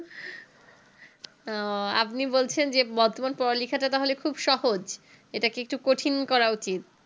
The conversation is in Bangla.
আহ আপনি বলছেন যে বর্তমান পড়ালেখাটা খুব সহজ এটাকে একটু কঠিন করা উচিত